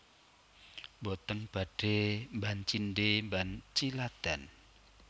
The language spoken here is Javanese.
Mboten badhe mban cindhe mban ciladan